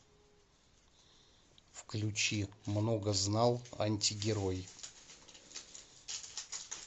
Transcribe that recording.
включи многознал антигерой